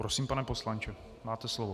Prosím, pane poslanče, máte slovo.